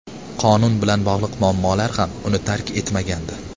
Qonun bilan bog‘liq muammolar ham uni tark etmagandi.